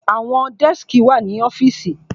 Àwọn dẹ́skì wà ní ọ́fìsì.